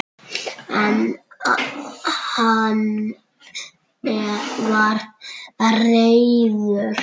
En hann var reiður!